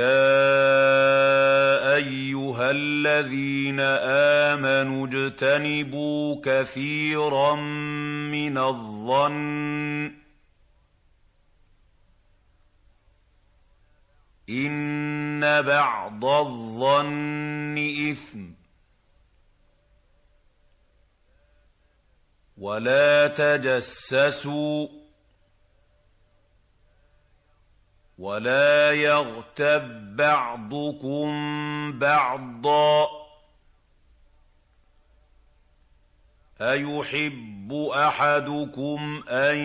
يَا أَيُّهَا الَّذِينَ آمَنُوا اجْتَنِبُوا كَثِيرًا مِّنَ الظَّنِّ إِنَّ بَعْضَ الظَّنِّ إِثْمٌ ۖ وَلَا تَجَسَّسُوا وَلَا يَغْتَب بَّعْضُكُم بَعْضًا ۚ أَيُحِبُّ أَحَدُكُمْ أَن